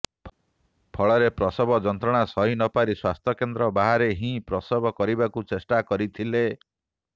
ଫଳରେ ପ୍ରସବ ଯନ୍ତ୍ରଣା ସହି ନ ପାରି ସ୍ୱାସ୍ଥ୍ୟ କେନ୍ଦ୍ର ବାହାରେ ହିଁ ପ୍ରସବ କରିବାକୁ ଚେଷ୍ଟା କରିଥିଲେ